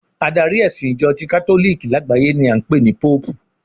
Adari ẹ̀sìn Ìjọ ti katoliki lágbàáyé ni a ń pè ní Póòpù